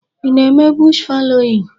Ị na-eme bush fallowing?